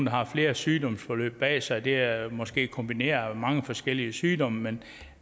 har flere sygdomsforløb bag sig det er måske kombineret af mange forskellige sygdomme men